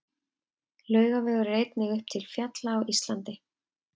Laugavegur er einnig til uppi til fjalla á Íslandi.